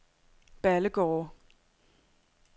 Ballegårde